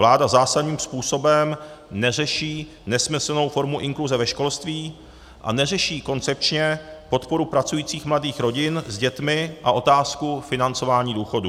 Vláda zásadním způsobem neřeší nesmyslnou formu inkluze ve školství a neřeší koncepčně podporu pracujících mladých rodin s dětmi a otázku financování důchodů.